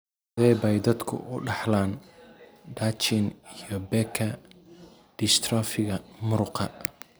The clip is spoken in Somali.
Sidee bay dadku u dhaxlaan Duchenne iyo Becker dystrophiga muruqa?